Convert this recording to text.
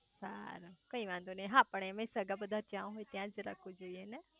સારું કઈ વાંધો નાઈ હા પણ સગા બધા જ્યાં હોય ત્યાં જ રાખવું જોઈયે ને